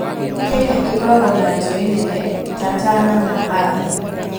Kenya ĩkoragwo na njũũĩ nene ta Tana na Athi.